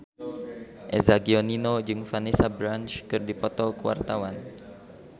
Eza Gionino jeung Vanessa Branch keur dipoto ku wartawan